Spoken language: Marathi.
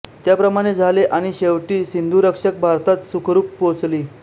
त्याप्रमाणे झाले आणि शेवटी सिंधुरक्षक भारतात सुखरूप पोचली